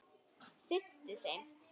sinnti þeim.